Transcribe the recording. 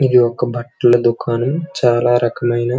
ఇది ఒక బట్టల దుకాణం. చాలా రకాలయిన --